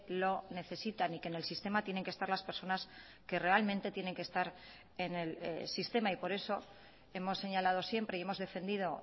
lo necesitan y que en el sistema tienen que estar las personas que realmente tienen que estar en el sistema y por eso hemos señalado siempre y hemos defendido